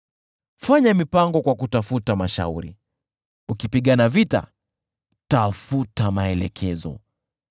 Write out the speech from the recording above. Fanya mipango kwa kutafuta mashauri, ukipigana vita, tafuta maelekezo.